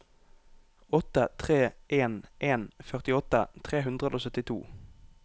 åtte tre en en førtiåtte tre hundre og syttito